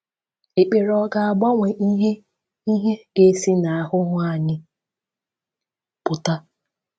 Ekpere ọ̀ ga-agbanwe ihe ihe ga-esi n’ahụhụ anyị pụta?